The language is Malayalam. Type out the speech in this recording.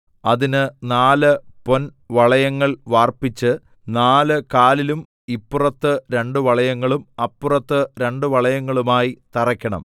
അതിന് നാല് പൊൻവളയങ്ങൾ വാർപ്പിച്ച് നാല് കാലിലും ഇപ്പുറത്ത് രണ്ട് വളയങ്ങളും അപ്പുറത്ത് രണ്ട് വളയങ്ങളുമായി തറയ്ക്കണം